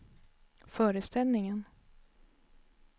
föreställningen